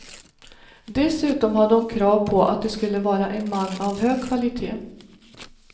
Dessutom hade hon krav på att det skulle vara en man av hög kvalité.